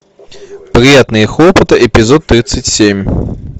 приятные хлопоты эпизод тридцать семь